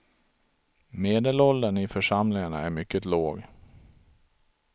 Medelåldern i församlingarna är mycket låg.